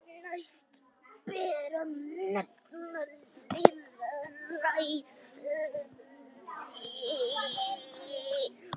Næst ber að nefna lýðræði.